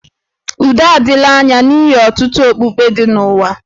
Udo adịla anya n'ihi ọtụtụ okpukpe dị n'ụwa